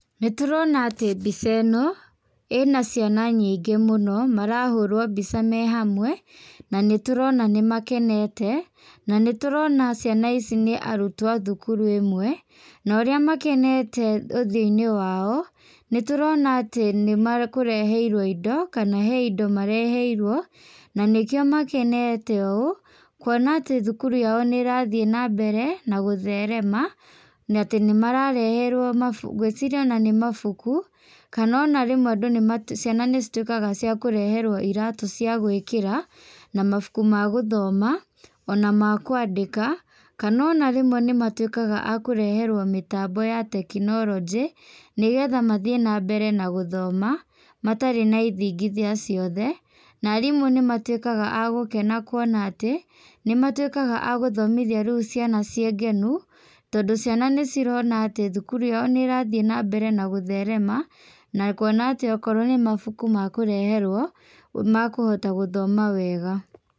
Nĩtũrona atĩ mbica ĩno, ĩna ciana nyingĩ mũno, marahũrwo mbica me hamwe, na nĩtũrona nĩmakenete, na nĩtũrona ciana ici nĩ arutwo a thukuru ĩmwe na ũrĩa makenete ũthiũinĩ wao, nĩtũrona atĩ nĩmakũreheirwo indo, kana he indo mareheirwo, na nĩkio makenete ũũ, kwona atĩ thukuru yao nĩrathiĩ nambere na gũtherema, na atĩ nĩmarareherwo mabu ngwĩciria ona nĩ mabuku, kana ona rĩmwe andũ nimatu ciana nĩcituĩkaga cia kũreherwo iratũ cia gwĩkĩra, na mabuku ma gũthoma, ona makwandĩka, kana ona rĩmwe nĩmatuĩkaga akũreherwo mĩtambo ya tekinolojĩ, nĩgetha mathiĩ nambere gũthoma, matarĩ na ithingithia ciothe, na arimũ nĩmatuĩkaga agũkena kwona atĩ, nĩmatuĩkaga agũthomithia rĩũ ciana ciĩ ngenu, tondũ ciana nĩcirona atĩ thukuru yao nĩrathiĩ nambere na gũtherema, na kuona atĩ okorwo nĩ mabuku mekũreherwo, nĩmakuhota gũthoma wega.